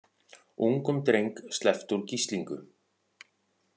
Ungum dreng sleppt úr gíslingu